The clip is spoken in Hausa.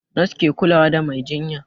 Nos ke kulawa da mai jinya